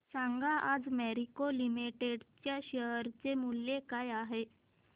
सांगा आज मॅरिको लिमिटेड च्या शेअर चे मूल्य काय आहे